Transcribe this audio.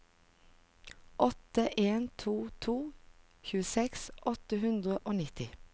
åtte en to to tjueseks åtte hundre og nitti